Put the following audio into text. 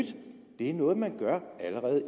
det er noget man allerede